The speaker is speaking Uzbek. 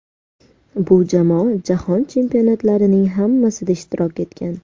Bu jamoa Jahon Chempionatlarining hammasida ishtirok etgan.